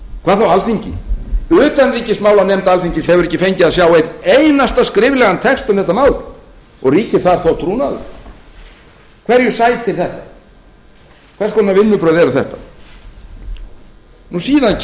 hvað þá alþingi utanríkismálanefnd alþingis hefur ekki fengið að sjá einn einasta skriflegan texta um þetta mál og ríkir þar þó trúnaður hverju sætir þetta hvers konar vinnubrögð eru þetta síðan